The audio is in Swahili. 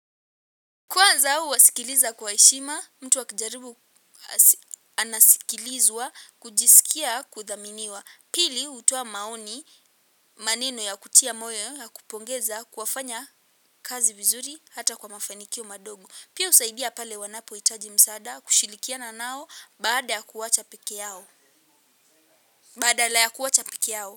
Kwanza huwasikiliza kwa heshima, mtu akijaribu anasikilizwa, kujisikia kuthaminiwa. Pili, hutoa maoni, maneno ya kutia moyo, ya kupongeza, kuwafanya kazi vizuri, hata kwa mafanikio madogo. Pia husaidia pale wanapohitaji msaada, kushirikiana nao, baada ya kuacha peke yao. Badala ya kuacha peke yao.